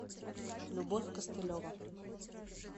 любовь костылева